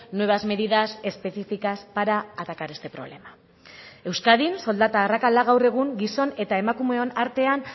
nuevas medidas específicas para atacar este problema euskadin soldata arrakala gaur egun gizon eta emakumeon artean